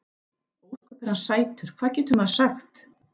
Ósköp er hann sætur, hvað getur maður sagt.